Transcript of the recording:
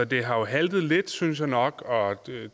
det har haltet lidt synes jeg nok og